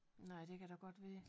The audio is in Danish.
Nej det kan da godt være